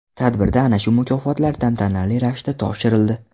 Tadbirda ana shu mukofotlar tantanali ravishda topshirildi.